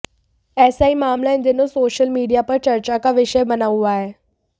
ऐसा ही मामला इन दिनों सोशल मीडिया पर चर्चा का विषय बना हुआ है